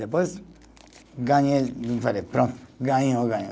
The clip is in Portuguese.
Depois, ganhei, falei, pronto, ganhou, ganhou